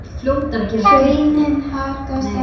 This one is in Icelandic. Hraunið haggast ekki.